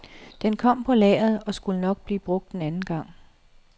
Den kom på lageret og skulle nok blive brugt en anden gang.